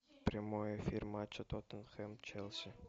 прямой эфир матча тоттенхэм челси